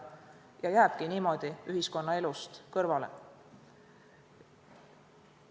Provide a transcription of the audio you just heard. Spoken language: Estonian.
Nii jääbki ta ühiskonnaelust kõrvale.